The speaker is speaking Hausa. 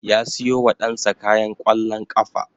Ya siyo wa ɗan sa kayan ƙwallon ƙafa